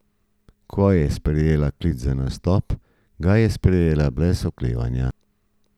Ko je prejela klic za nastop, ga je sprejela brez oklevanja.